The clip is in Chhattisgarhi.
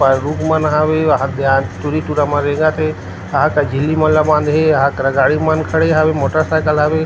ऊपर रुख मन हावे वहाद टुरी- टुरा मन रेंगत हे यहाँ करा झिल्ली मन ला बांधे हे यहाँ करा गाड़ी मन खड़े हावे मोटर साइकिल हावे।